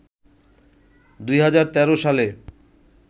২০১৩ সালে